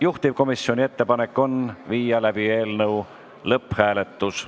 Juhtivkomisjoni ettepanek on viia läbi eelnõu lõpphääletus.